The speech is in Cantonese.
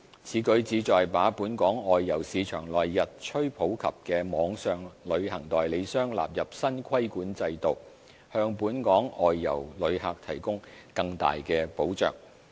此舉旨在把本港外遊市場內日趨普及的網上旅行代理商納入新規管制度，向本港外遊旅客提供更大保障。